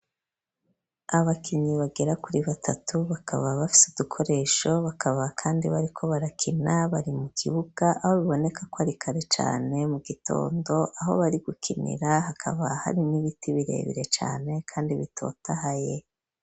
Abakinyi bagera kuri batatu, bakaba bafise udukoresho bakaba kandi bariko barakina, bari mu kibuga, aho biboneka ko ari kare cane mu gitondo, aho bari gukinira hakaba hari n'ibiti birebire cane kandi bitotahaye.